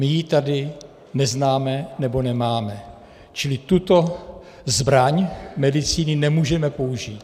My ji tady neznáme, nebo nemáme, čili tuto zbraň medicíny nemůžeme použít.